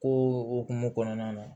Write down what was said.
Ko o hokumu kɔnɔna na